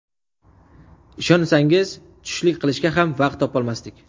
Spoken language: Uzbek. Ishonsangiz, tushlik qilishga ham vaqt topolmasdik.